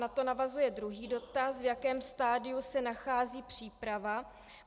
Na to navazuje druhý dotaz: V jakém stadiu se nachází příprava?